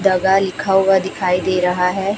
जगह लिखा हुआ दिखाई दे रहा है।